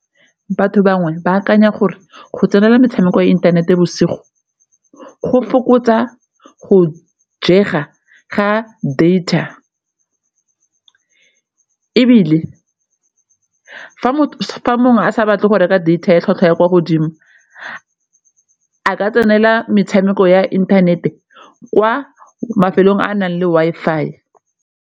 Batho bangwe ba akanya gore go tsenela metshameko ya inthanete bosigo go fokotsa go jega ga data ebile fa mongwe a sa batle go reka data ya tlhwatlhwa ya kwa godimo a ka tsenela metshameko ya inthanete kwa mafelong a a nang le Wi-Fi.